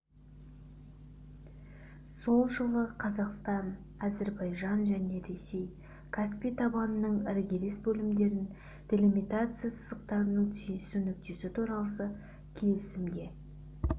сол жылы қазақстан әзірбайжан және ресей каспий табанының іргелес бөлімдерін делимитация сызықтарының түйісу нүктесі туралы келісімге